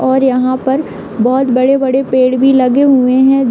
और यहां पर बोहोत बड़े-बड़े पेड़ भी लगे हुए हैं।